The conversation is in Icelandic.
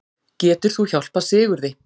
Getur þú hjálpað Sigurði?